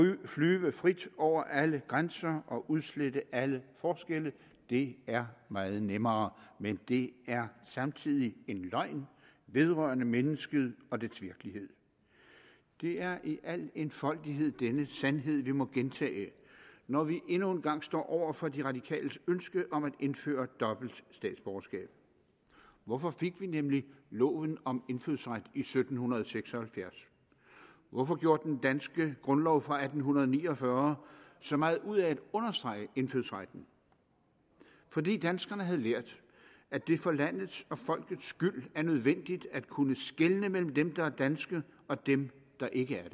flyve frit over alle grænser og udslette alle forskelle det er meget nemmere men det er samtidig en løgn vedrørende mennesket og dets virkelighed det er i al enfoldighed denne sandhed vi må gentage når vi endnu en gang står over for de radikales ønske om at indføre dobbelt statsborgerskab hvorfor fik vi nemlig loven om indfødsret i sytten seks og halvfjerds hvorfor gjorde den danske grundlov fra atten ni og fyrre så meget ud af at understrege indfødsretten fordi danskerne havde lært at det for landets og folkets skyld er nødvendigt at kunne skelne mellem dem der er danske og dem der ikke